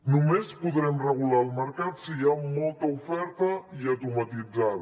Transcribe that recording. només podrem regular el mercat si hi ha molta oferta i atomatitzada